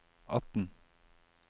atten